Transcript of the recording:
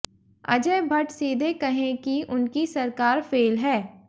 अजय भट्ट सीधे कहें कि उनकी सरकार फेल है